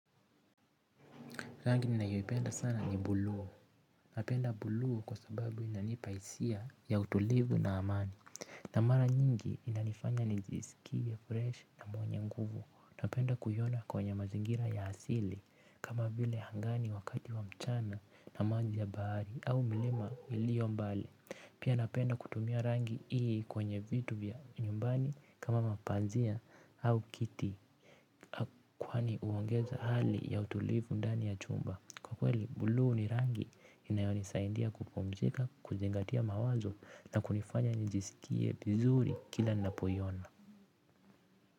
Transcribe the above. Rangi ninaipenda sana ni buluu. Napenda buluu kwa sababu inanipa hisia ya utulivu na amani. Na mara nyingi inanifanya nijisikie fresh na mwenye nguvu. Napenda kuhiona kwenye mazingira ya hasili kama vile hangani wakati wa mchana na manji ya baari au mlima ulio mbali. Pia napenda kutumiya rangi hii kwenye vitu vya nyumbani kama, mapanzia au kiti kwani huongeza hali ya utulivu ndani ya chumba. Kwa kweli bulu ni rangi inayo nisaindia kupomzika, kuzingatia mawazo na kunifanya nijisikie vizuri kila ninapo hiona.